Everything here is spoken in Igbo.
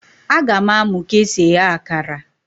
A ga m amụ ka esi eghe akara